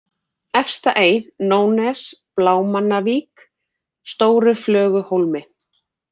Efstaey, Nónnes, Blámannavík, Stóruflöguhólmi